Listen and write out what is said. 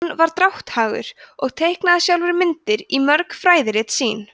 hann var drátthagur og teiknaði sjálfur myndir í mörg fræðirit sín